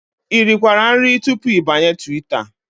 I rikwara nri tupu ịbanye Twitter?